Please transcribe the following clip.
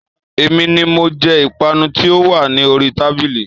Èmi ni mo je Ìpanu tí ó wà ní oríi tábìlì